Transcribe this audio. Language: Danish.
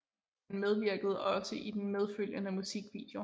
Han medvirkede også i den medfølgende musikvideo